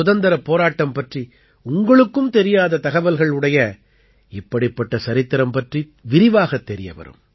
சுதந்திரப் போராட்டம் பற்றி உங்களுக்கும் தெரியாத தகவல்கள் உடைய இப்படிப்பட்ட சரித்திரம் பற்றி விரிவாகத் தெரியவரும்